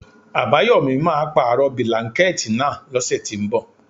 Àbáyòmí máà ń pàrọ̀ bílánkẹ̀tì náà lọ́sẹ̀ tínbọ̀.